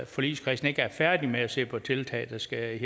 forligskredsen ikke er færdige med at se på tiltag der skal